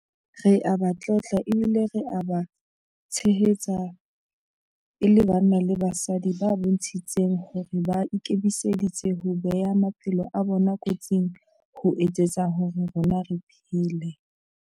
Re a ba tlotla ebile re a ba tshehetsa e le banna le basadi ba bontshitseng hore ba ikemiseditse ho bea maphelo a bona kotsing ho etsetsa hore rona re phele.